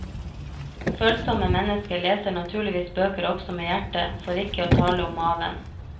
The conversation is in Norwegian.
Følsomme mennesker leser naturligvis bøker også med hjertet, for ikke å tale om maven.